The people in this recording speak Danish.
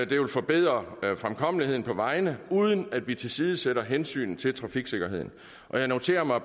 det vil forbedre fremkommeligheden på vejene uden at vi tilsidesætter hensynet til trafiksikkerheden jeg noterer mig